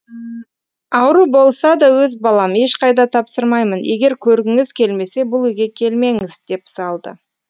ауру болса да өз балам ешқайда тапсырмаймын егер көргіңіз келмесе бұл үйге келмеңіз деп салды